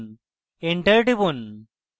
enter টিপুন